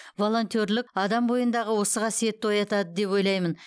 волонтерлік адам бойындағы осы қасиетті оятады деп ойлаймын